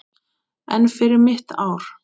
En fyrir mitt ár?